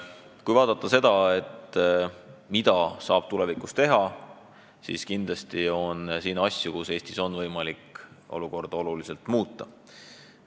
Kui vaadata seda, mida saab tulevikus teha, siis kindlasti on asju, mille abil on Eestis võimalik olukorda oluliselt muuta.